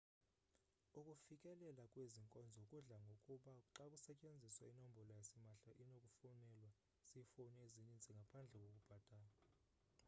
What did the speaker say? ukufikelela kwezi nkonzo kudla ngokuba xa kusetyenziswa inombolo yasimahla enokufonelwa ziifowuni ezininzi ngaphandle kokubhatala